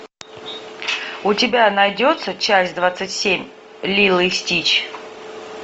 у тебя найдется часть двадцать семь лило и стич